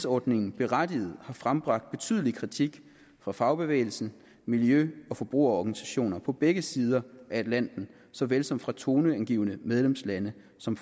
ordningen berettiget har frembragt betydelig kritik fra fagbevægelsen miljø og forbrugerorganisationer på begge sider af atlanten såvel som fra toneangivende medlemslande som